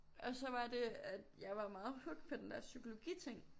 Og så var det at jeg var meget hooked på den der psykologiting